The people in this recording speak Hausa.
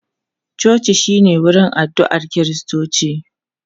Coci shi ne wurin addu'a Kiristoci.